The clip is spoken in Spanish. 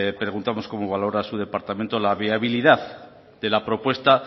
preguntamos cómo valora su departamento la viabilidad de la propuesta